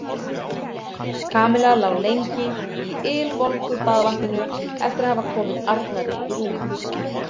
Kamilla lá lengi í ylvolgu baðvatninu eftir að hafa komið Arnari í rúmið.